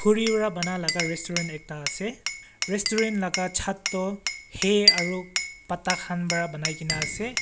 ri wa bana laga restaurant ase restaurant laga chhat toh hay aro pata han bra banaigena ase.